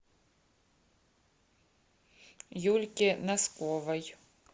юльки носковой